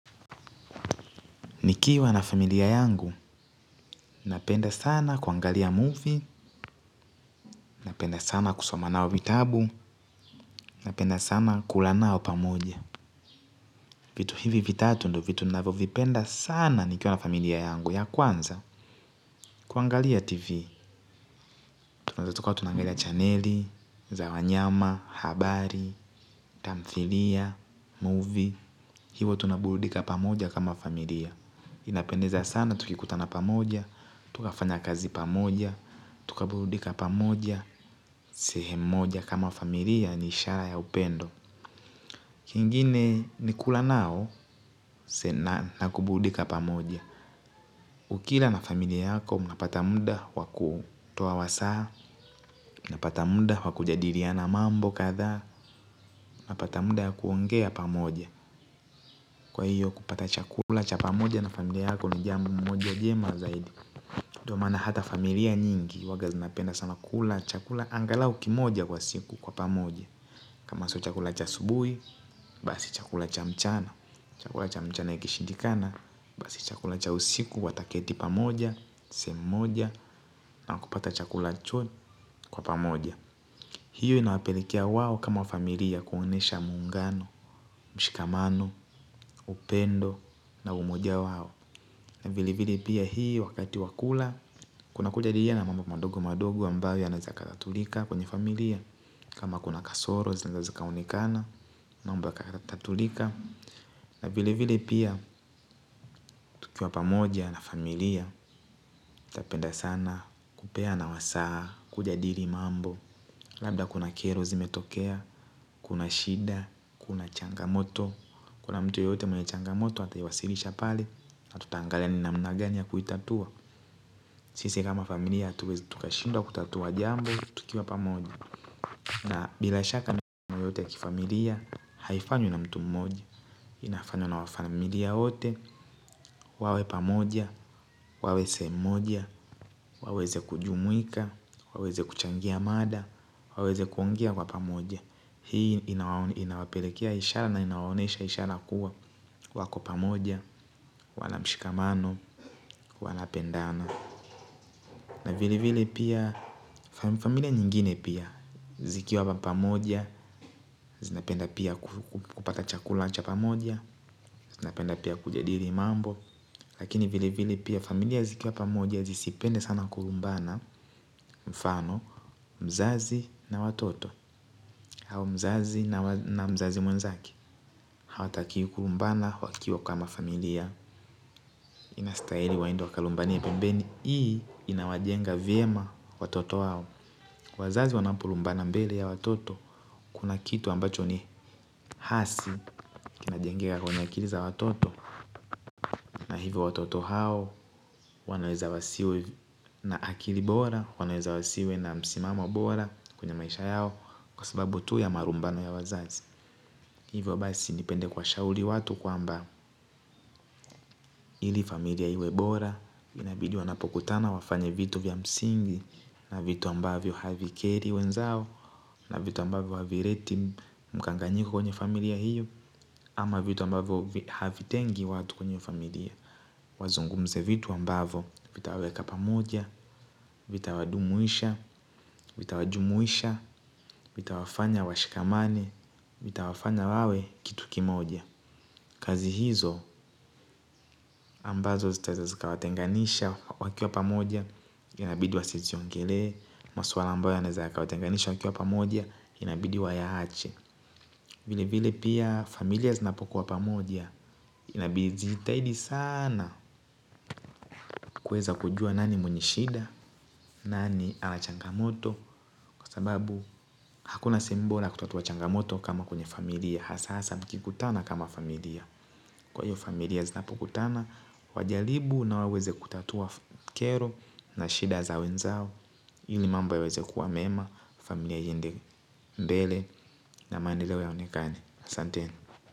Nikiwa na familia yangu, napenda sana kuangalia movie, napenda sana kusomanao vitabu, napenda sana kulanao pamoja. Vitu hivi vitatu ndo vitu ninavovipenda sana nikiwa na familia yangu ya kwanza. Kuangalia TV, tunazatukawa tunangalia channeli, zawanyama, habari, tamthlia, movie. Hivo tunaburudika pamoja kama familia. Inapendeza sana tukikuta na pamoja. Tukafanya kazi pamoja. Tukabuludika pamoja sehemu moja kama familia ni ishara ya upendo. Kingine nikula nao sena nakubuludika pamoja. Ukila na familia yako mnapata muda wakutoa wasaha. Napata muda wakujadiriana mambo kadha mnapata muda wa kuongea pamoja kwa io kupata chakula cha pamoja na familia yako jambo moja jema zaidi ndio maana hata na familia nyingi huaga zinapenda sana kula chakula angalau kimoja kwa siku kwa pamoja. Kama so chakula cha asubui, basi chakula cha mchana. Chakula cha mchana ikishindikana, basi chakula cha usiku wataketi pamoja, sehemu moja. Na wakupata chakula cho kwa pamoja. Hiyo inawapelekea wao kama familia kuonesha muungano, mshikamano, upendo na umoja wao vile vile pia hii wakati wa kula kunakujadiluana mambo madogo madogo ambayo yanaeza yakatatulika. Kama kuna kasoro zinaenda zikaonekana unikana na mambo yakatatulika. Na vile vile pia tukiwa pamoja na familia utapenda sana kupea na wasaa kuja diri mambo. Labda kuna kero zimetokea, kuna shida, kuna changamoto. Kuna mtu yeyote mwene changamoto ata iwasilisha pale na tutaangalia ni namna gani ya kuitatua. Sisi kama familia hatuwezi tukashinda kutatua jambo, tukiwa pamoja. Na bila shaka ni kama yote ya kifamilia, haifanywi na mtu mmoja. Inafanywa na wa familia wote, wawe pamoja, wawe sehemu moja, waweze kujumuika, waweze kuchangia mada, waweze kuongea kwa pamoja. Hii inawapelekea ishala na inaonesha ishala kuwa wako pamoja, wala mshikamano, wala pendano. Na vile vile pia familia nyingine pia zikiwa pamoja, zinapenda pia kupata chakula cha pamoja, zinapenda pia kujadiri mambo. Lakini vile vile pia familia zikiwa pamoja zisipende sana kulumbana mfano mzazi na watoto au mzazi na mzazi mwenzake. Hawa takiwi kulumbana wakiwa kama familia. Inastaili waende wa kalumbanie pembeni. Hii inawajenga vyema watoto wao. Kuwa wazazi wanapulumbana mbele ya watoto, kuna kitu ambacho ni hasi, kinajengeka kwenye akili za watoto. Na hivyo watoto hao, wanaeza wasiwe na akili bora, wanaeza wasiwe na msimamo bora kwenye maisha yao. Kwa sababu tu ya marumbano ya wazazi, hivyo basi nipende kuwa shauli watu kwa mba ili familia iwe bora. Inabidi wanapokutana wafanye vitu vya msingi. Na vitu ambavyo havi keri wenzao. Na vitu ambavyo havi reti mkanganyiko kwenye familia hiyo. Ama vitu ambavyo havi tengi watu kwenye familia. Wazungumze vitu ambavyo vitawaweka pamoja. Vita wadumuisha. Vita wajumuisha. Vita wafanya washikamane. Vita wafanya wawe kitu kimoja. Kazi hizo ambazo zitaeza zika watenganisha wakiwa pamoja. Inabidi wa siziongele. Masuala ambayo yanaeza yakawatenganisha wakiwa pamoja. Inabidi wa ya ache. Vile vile pia familia zinapokuwa pamoja. Inabidi zijitahidi sana kuweza kujua nani mwenye shida nani anachangamoto. Kwa sababu hakuna simbola kutatua changamoto kama kwenye familia. Hasa mkikutana kama familia. Kwa hiyo familia zinapokutana wajalibu na waweze kutatua kero na shida za wenzao. Hili mambo yaweze kuwa mema. Familia iendi mbele. Na maendeleo yaonikane asanteni.